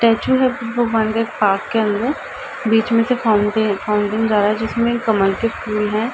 Statue है भगवान के पार्क के अंदर बीच में से फाउन्टन फाउन्टन जा रहा है जिसमे कमल के फूल है।